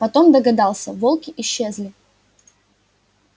потом догадался волки исчезли